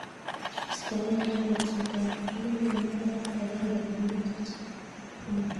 Istoeg'ei kolset ab njuguk eng mbaret ag'eng'e konyil chechang